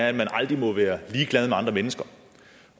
at man aldrig må være ligeglad med andre mennesker